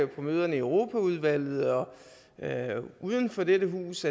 på møderne i europaudvalget og uden for dette hus